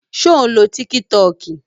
Ṣé ò ń lo tíkí tọọkì?